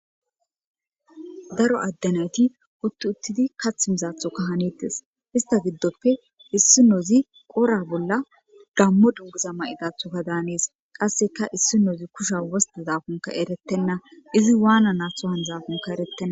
Daro adde naytti Uti uttidi kaththi mizathoka hanetes ista gidope issinozi wora Bolla Gamo Dunguza Danesi Qaseka issinozi Abikoka etetena izi wanaba hanizakon etetena